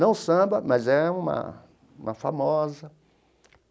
Não samba, mas é uma uma famosa.